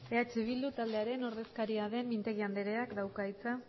andrea eh bildu taldearen ordezkaria den mintegi andreak dauka hitza